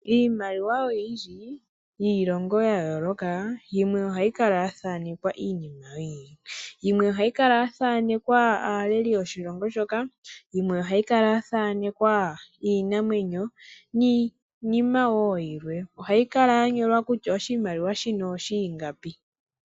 Iimaliwa oyindji yiilongo ya yooloka yimwe ohayi kala ya thaanekwa iinima oyindji. Yimwe ohayi kala ya thanekwa aaleli yoshilongo shoka, yimwe ohayi kala ya thanekwa iinamwenyo niinima wo yilwe. Ohayi kala ya nyolwa kutya oshimaliwa shoka ingapi.